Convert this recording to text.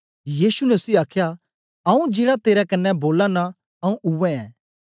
यीशु ने उसी आखया आऊँ जेड़ा तेरे कन्ने बोला नां आऊँ उवै ऐं